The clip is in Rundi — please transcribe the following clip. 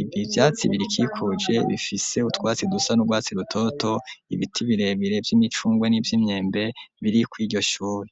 ibi vyatsi birikikuje bifise utwatsi dusa n'urwatsi rutoto ibiti birebire vy'imicungwe n'ivyo imyembe biri ko iryo shuri.